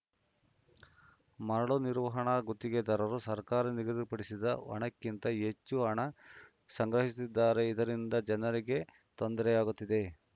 ಮರಳು ನಿರ್ವಹಣಾ ಗುತ್ತಿಗೆದಾರರು ಸರ್ಕಾರ ನಿಗದಿಪಡಿಸಿದ ಹಣಕ್ಕಿಂತ ಹೆಚ್ಚು ಹಣ ಸಂಗ್ರಹಿಸುತ್ತಿದ್ದಾರೆ ಇದರಿಂದ ಜನರಿಗೆ ತೊಂದರೆಯಾಗುತ್ತಿದೆ